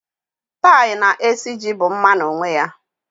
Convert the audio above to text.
Tie na esiji bụ mma n'onwe ya.